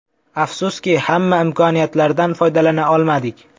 Afsuski, hamma imkoniyatlardan foydalana olmadik.